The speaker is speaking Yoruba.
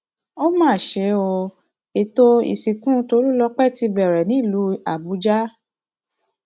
ó mà ṣe o ètò ìsìnkú tólùlọpẹ ti bẹrẹ nílùú àbújá